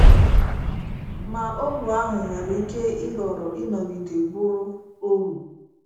Ma ohu ahụ nwere ike ịhọrọ ịnọgide bụrụ ohu.